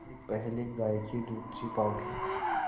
इससे पहले गाय के दूध से पावडर